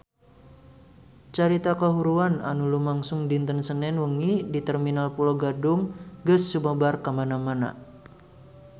Carita kahuruan anu lumangsung dinten Senen wengi di Terminal Pulo Gadung geus sumebar kamana-mana